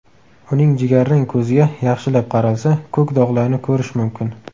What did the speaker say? Uning jigarrang ko‘ziga yaxshilab qaralsa, ko‘k dog‘larni ko‘rish mumkin”.